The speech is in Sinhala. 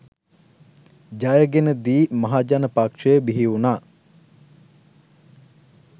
ජයගෙන දි මහජන පක්ෂය බිහිවුණා.